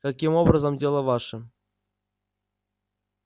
каким образом дело ваше